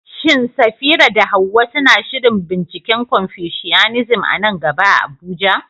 Shin Safira da Hawwa suna shirin binciken Confucianism a nan gaba a Abuja?